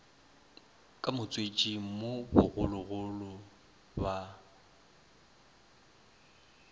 ka motswetšing mo bogologolo ba